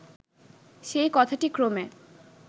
সেই কথাটি ক্রমে